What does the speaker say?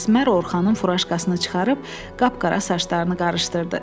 Əsmər Orxanın furajkasını çıxarıb qapqara saçlarını qarışdırdı.